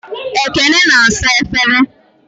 Ekene na-asa efere.